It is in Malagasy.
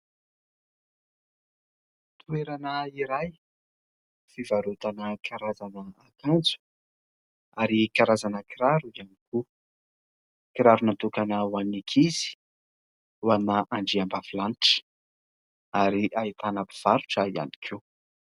Toerana iray, fivarotana karazana akanjo; ary karazana kiraro iany koa. Kiraro natokana hoan'ny ankizy, ho an'ny andriambavilanitra ary ahitana mpivarotra ihany koa.